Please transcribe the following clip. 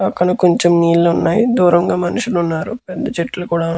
పక్కన కొంచెం నీళ్లున్నాయి దూరంగా మనుషులు ఉన్నారు పెద్ద చెట్లు కూడా.